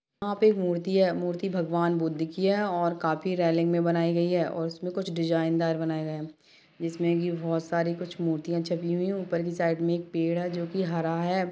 वहाँ पर एक मूर्ति है मूर्ति एक भगवान-बुद्ध की है जो काफी रैलिंग बनाई गई है और उसमे कुछ डिजाइनदार बनी गई है जिस मे बहुत सारी कुछ मूर्तिया है उपर के साइड मे पैड है जो की हरा है।